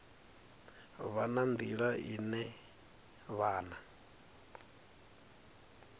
vha na nḓila ine vhana